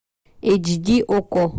эйч ди окко